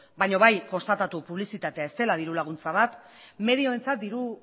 baina bai konstatatu publizitatea ez dela dirulaguntza bat medioentzat diru